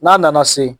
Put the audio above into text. N'a nana se